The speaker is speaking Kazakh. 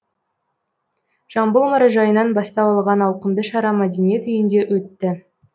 жамбыл мұражайынан бастау алған ауқымды шара мәдениет үйінде өтті